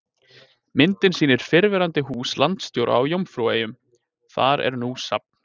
Myndin sýnir fyrrverandi hús landsstjóra á Jómfrúaeyjum, þar er nú safn.